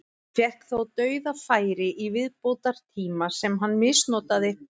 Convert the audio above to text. Fékk þó dauðafæri í viðbótartíma sem hann misnotaði.